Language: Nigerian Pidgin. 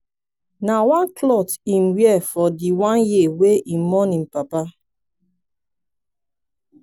na one clot im wear for di one year wey im mourn im papa.